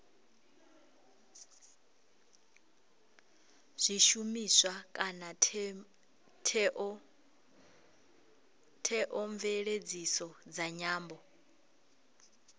zwishumiswa kana theomveledziso dza nyambo